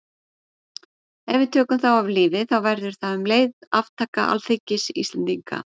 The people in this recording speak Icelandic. Ef við tökum þá af lífi þá verður það um leið aftaka alþingis Íslendinga.